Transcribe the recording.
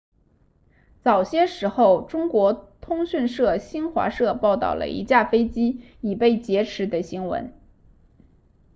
早些时候中国通讯社新华社报道了一架飞机已被劫持的新闻